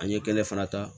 An ye kɛnɛ fana ta